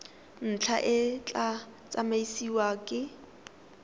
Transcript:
ntlha e tla tsamaisiwa ke